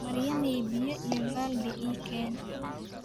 Maryamay, biyo iyo baaldi ii keen .